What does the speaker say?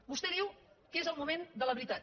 vostè diu que és el moment de la veritat